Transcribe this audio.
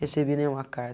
Recebi nenhuma